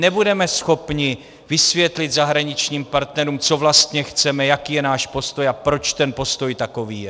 Nebudeme schopní vysvětlit zahraničním partnerům, co vlastně chceme, jaký je náš postoj a proč ten postoj takový je!